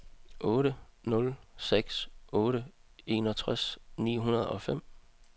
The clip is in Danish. otte nul seks otte enogtres ni hundrede og fem